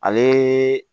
Ale